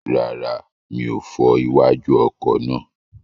Rárá, mi ò fọ iwájú ọkọ̀ náà.